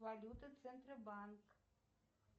валюты центробанк